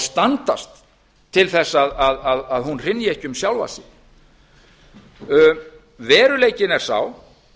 standast til að hún hrynji ekki um sjálfa sig veruleikinn er sá